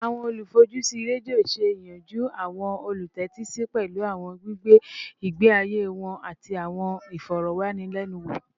Awọn olufojusi redio ṣe iyanju awọn olutẹtisi pẹlu awọn gbigbe igbe aye wọn ati awọn ifọrọwanilẹnuwo